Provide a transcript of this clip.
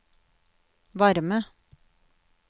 varme